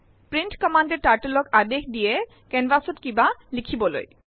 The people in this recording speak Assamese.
প্ৰিণ্ট কম্মান্দএ Turtleক আদেশ দিয়ে কেনভাচ ত কিবা লিখিবলৈ